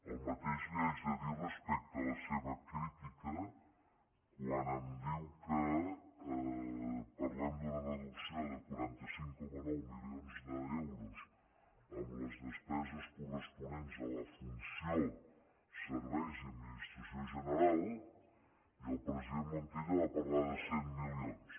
el mateix li haig de dir respecte a la seva crítica quan em diu que parlem d’una reducció de quaranta cinc coma nou milions d’euros en les despeses corresponents a la funció serveis i administració general i el president montilla va parlar de cent milions